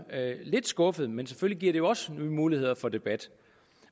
lidt skuffet men selvfølgelig giver det også nogle muligheder for debat